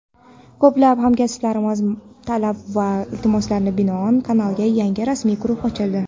Ko‘plab hamkasblarimizning talab va iltimoslariga binoan kanalning yangi rasmiy guruhi ochildi.